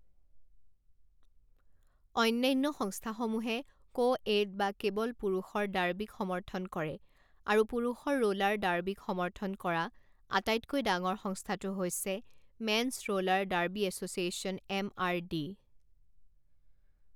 অন্যান্য সংস্থাসমূহে কোএড বা কেৱল পুৰুষৰ ডাৰ্বিক সমৰ্থন কৰে আৰু পুৰুষৰ ৰোলাৰ ডাৰ্বিক সমৰ্থন কৰা আটাইতকৈ ডাঙৰ সংস্থাটো হৈছে men's roller derby association M R D.